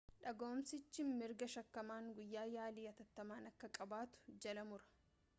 dhaga'uumsichi mirga shakkamaan guyyaa yaalii attattamaa akka qabaatu jala mura